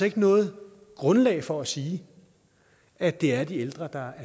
ikke noget grundlag for at sige at det er de ældre der